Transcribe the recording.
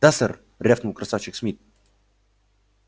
да сэр рявкнул красавчик смит